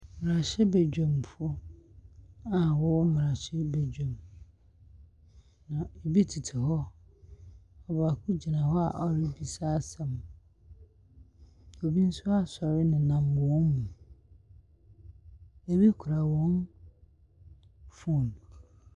Mmrahyɛbaguamfo a wɔwɔ mmarahyɛbaguam bi tete hɔ. Obigyina hɔ a ɔrebisa asɛm. Obi asɔre nenam wɔn mu. Ebi kura wɔn phone.